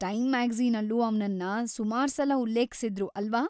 Time ಮ್ಯಾಗಝೀನಲ್ಲೂ ಅವ್ನನ್ನ ಸುಮಾರ್ಸಲ ಉಲ್ಲೇಖ್ಸಿದ್ರು, ಅಲ್ವಾ?